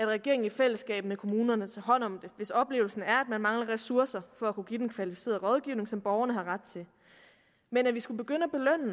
regeringen i fællesskab med kommunerne tager hånd om det hvis oplevelsen er at man mangler ressourcer for at kunne give den kvalificerede rådgivning som borgerne har ret til men at vi skulle begynde